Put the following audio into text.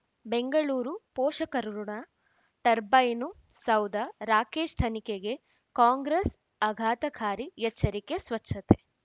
ಬೆಂಗಳೂರು ಪೋಷಕರಋಣ ಟರ್ಬೈನು ಸೌಧ ರಾಕೇಶ್ ತನಿಖೆಗೆ ಕಾಂಗ್ರೆಸ್ ಆಘಾತಕಾರಿ ಎಚ್ಚರಿಕೆ ಸ್ವಚ್ಛತೆ